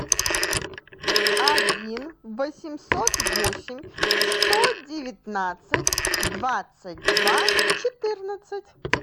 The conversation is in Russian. один восемьсот восемь сто девятнадцать двадцать два четырнадцать